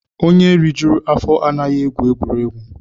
Onye rijuru afọ anaghị egwu egwuregwu